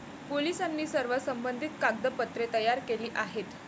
पोलिसांनी सर्व संबंधित कागदपत्रे तयार केली आहेत.